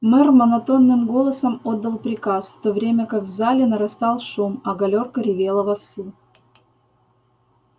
мэр монотонным голосом отдал приказ в то время как в зале нарастал шум а галёрка ревела вовсю